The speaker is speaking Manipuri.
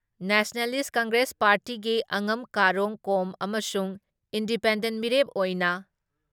ꯅꯦꯁꯅꯦꯂꯤꯁ ꯀꯪꯒ꯭ꯔꯦꯁ ꯄꯥꯔꯇꯤꯒꯤ ꯑꯉꯝ ꯀꯥꯔꯣꯡ ꯀꯣꯝ ꯑꯃꯁꯨꯡ ꯏꯟꯗꯤꯄꯦꯟꯗꯦꯟ ꯃꯤꯔꯦꯞ ꯑꯣꯏꯅ